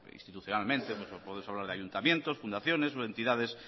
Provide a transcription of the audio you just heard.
institucionalmente podemos hablar de ayuntamientos fundaciones o entidades